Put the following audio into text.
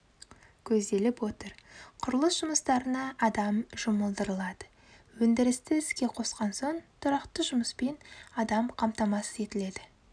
көзделіп отыр қүрылыс жұмыстарына адам жұмылдырылады өндірісті іске қосқан соң тұрақты жұмыспен адам қамтамасыз етіледі